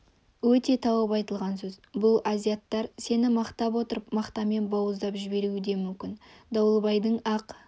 өте тауып айтылған сөз бұл азиаттар сені мақтап отырып мақтамен бауыздап жіберуі де мүмкін дауылбайдың ақ